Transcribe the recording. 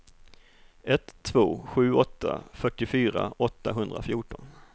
ett två sju åtta fyrtiofyra åttahundrafjorton